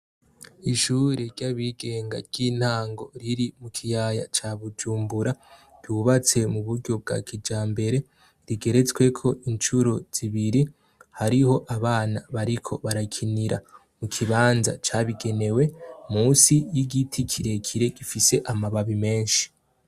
Ishuri ry'abigenga ry'intango riri mu kiyaya ca bujumbura ryubatse mu buryo bwa kijambere rigeretsweko incuro zibiri hariho abana bariko barakinira mu kibanza cabigenewe munsi y'igiti kirekire gifise amababi meshi.